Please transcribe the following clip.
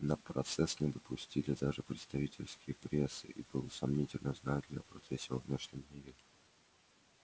на процесс не допустили даже представителей прессы и было сомнительно знают ли о процессе во внешнем мире